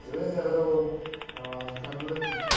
ਵਿੰਨ ਦਿੰਦੇ ਫਿਰ ਉਹ ਹਾਂ ਕੰਨ ਵਿੱਚ।